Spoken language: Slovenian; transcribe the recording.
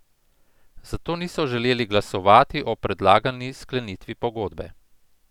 Zato niso želeli glasovati o predlagani sklenitvi pogodbe.